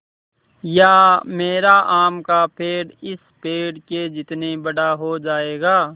या मेरा आम का पेड़ इस पेड़ के जितना बड़ा हो जायेगा